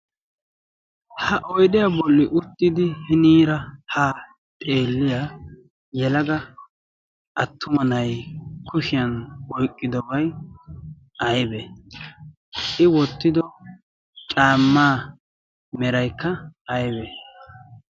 ha oydiyaa bolli uttidi hiniira ha xeeliyaa yelaga attuma nay kushiyan oyqqidobay aybe i wottido caamaa meraykka aybe